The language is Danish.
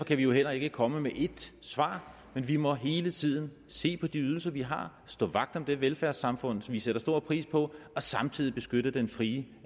kan vi jo heller ikke komme med ét svar men vi må hele tiden se på de ydelser vi har og stå vagt om det velfærdssamfund som vi sætter stor pris på og samtidig beskytte den frie